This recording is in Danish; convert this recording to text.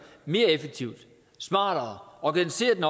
mere effektivt smartere og organiserer den